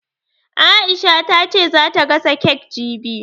Aisha ta ce za ta gasa kek jibi